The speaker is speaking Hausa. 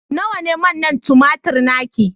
nawa ne manna tumatir naki